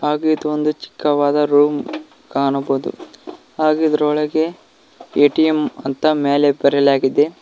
ಹಾಗೆ ಇದು ಒಂದು ಚಿಕ್ಕವಾದ ರೂಮ್ ಕಾಣಬಹುದು ಹಾಗೆ ಇದರೊಳಗೆ ಎ_ಟಿ_ಎಮ್ ಅಂತ ಮ್ಯಾಲೆ ಬರೆಯಲಾಗಿದೆ.